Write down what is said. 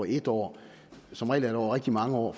en år som regel er det over rigtig mange år